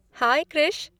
High Krish!